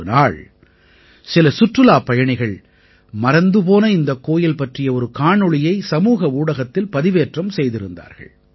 ஒரு நாள் சில சுற்றுலாப் பயணிகள் மறந்து போன இந்த கோயில் பற்றிய ஒரு காணொளியை சமூக ஊடகத்தில் பதிவேற்றம் செய்திருந்தார்கள்